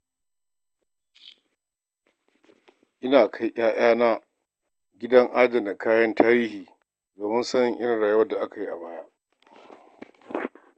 Ina kai 'ya'yana gidan adana kayan tarihi, domin sanin irin rayuwar da aka yi a baya.